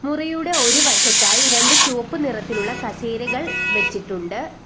മുറിയുടെ ഒരു വശത്തായി രണ്ട് ചുവപ്പ് നിറത്തിലുള്ള കസേരകൾ വെച്ചിട്ടുണ്ട്.